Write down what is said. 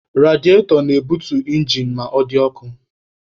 Rediatọ na-ebutu injin ma ọ dị ọkụ.